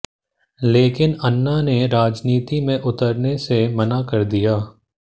लेकिन अन्ना ने राजनीति में उतरने से मना कर दिया